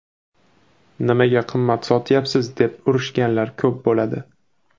Nimaga qimmat sotyapsiz deb urishganlar ko‘p bo‘ladi.